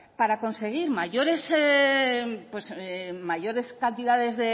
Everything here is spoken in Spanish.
para conseguir mayores cantidades